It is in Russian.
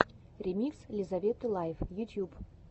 ремикс лизаветы лайф ютьюб